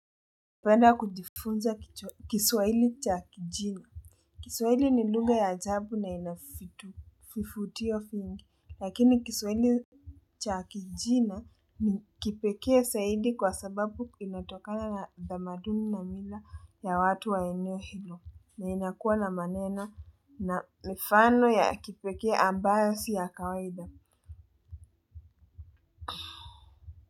Penda kujifunza kichwa kiswaili cha kijina. Kiswaili ni lugha ya ajabu na inafifu fifutio fifingi. Lakini kiswaili cha kijina ni kipekee saidi kwa sababu inatokana na damaduni na mila ya watu wa eneo hilo. Na inakuwa na manena na mifano ya kipekee ambayo siya kawaida.